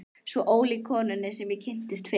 Svo ólík konunni sem ég kynntist fyrst.